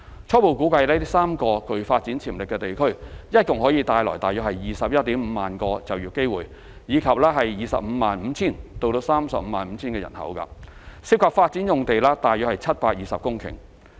初步估計這3個具發展潛力地區共可帶來 215,000 個就業機會，以及 255,000 至 350,000 人口，涉及發展用地約720公頃。